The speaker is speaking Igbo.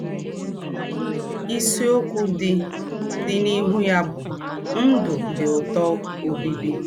Ìsìokwū dị dị n’íhū yà bụ̀ “ Ndū̄ Dị Ǔtọ̀ Ọ́bíbí. ”